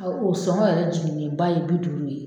Ɔ o sɔngɔ yɛrɛ jiginlen ba ye bi duuru ye